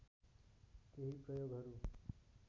केही प्रयोगहरू